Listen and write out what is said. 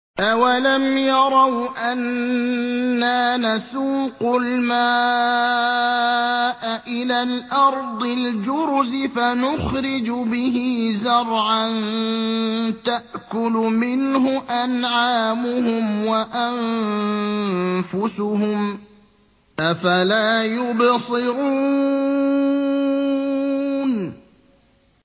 أَوَلَمْ يَرَوْا أَنَّا نَسُوقُ الْمَاءَ إِلَى الْأَرْضِ الْجُرُزِ فَنُخْرِجُ بِهِ زَرْعًا تَأْكُلُ مِنْهُ أَنْعَامُهُمْ وَأَنفُسُهُمْ ۖ أَفَلَا يُبْصِرُونَ